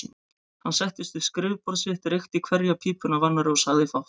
Hann settist við skrifborð sitt, reykti hverja pípuna af annarri og sagði fátt.